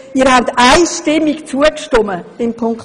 Sie haben diesem Punkt einstimmig zugestimmt.